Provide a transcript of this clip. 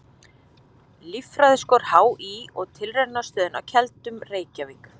Líffræðiskor HÍ og Tilraunastöðin á Keldum, Reykjavík.